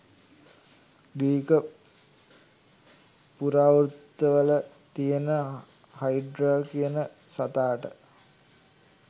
Greek පුරාවෘත්තවල තියෙන Hydra කියන සතාට